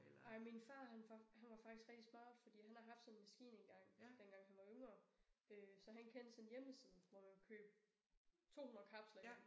Ej far han han var faktisk rigtig smart fordi han har haft sådan en maskine engang dengang han var yngre øh så han kendte sådan en hjemmeside hvor man kunne købe 200 kapsler hjem